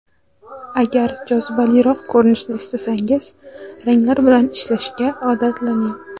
Agar jozibaliroq ko‘rinishni istasangiz, ranglar bilan ishlashga odatlaning.